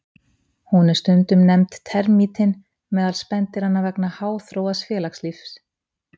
Hún er stundum nefnd termítinn meðal spendýranna vegna háþróaðs félagslífs.